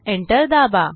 enter दाबा